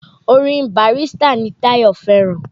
Orin Barrister ni Tàyọ́ fẹ́ràn